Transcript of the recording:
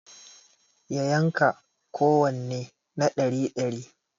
Ya yanka kowanne na ɗari dari